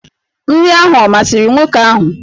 Nri ahụ ọ masịrị nwoke ahụ?